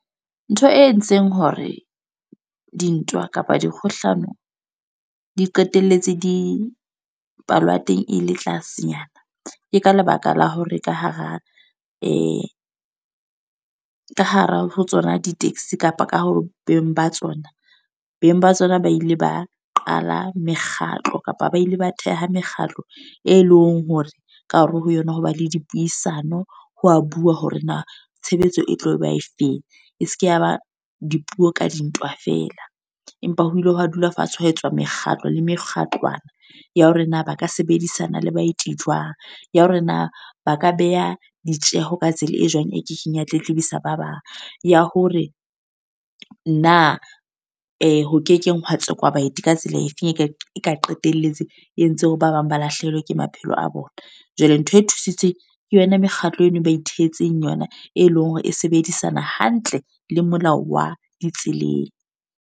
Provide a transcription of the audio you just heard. Ntho e entseng hore dintwa kapa dikgohlano, di qetelletse di palo ya teng e le tlasenyana. Ke ka lebaka la hore ka hara ka hara ho tsona di-taxi kapa ka ho beng ba tsona. Beng ba tsona ba ile ba qala mekgatlo, kapa ba ile ba theha mekgatlo. E leng hore, ka hare ho yona ho ba le dipuisano, ho wa bua hore na tshebetso e tlo ba e feng. E seke ya ba dipuo ka dintwa fela. Empa ho ile hwa dula fatshe hwa etswa mekgatlo le mekgatlwana, ya hore na ba ka sebedisana le baeti jwang. Ya hore na ba ka beha ditjeho ka tsela e jwang e kekeng ya tletlibisa ba bang. Ya hore na ho kekeng hwa tsekwa baeti ka tsela efeng, e ka e ka qetelletse e entseng hore ba bang ba lahlehelwe ke maphelo a bona. Jwale ntho e thusitswe ke yona mekgatlo eno e ba ithehetseng yona. E leng hore e sebedisana hantle le molao wa tseleng.